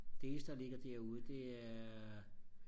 det eneste der ligger derude det er